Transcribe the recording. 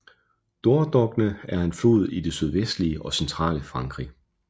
Dordogne er en flod i det sydvestlige og centrale Frankrig